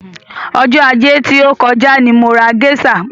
Ọjọ́ ajé tí ó kọjá ni mo ra géṣà.